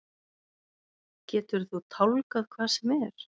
Geturðu tálgað hvað sem er?